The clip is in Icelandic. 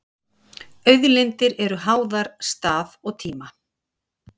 auðlindir eru háðar stað og tíma